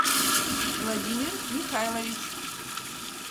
владимир михайлович